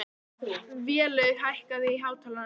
Vélaug, hækkaðu í hátalaranum.